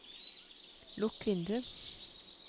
lukk vindu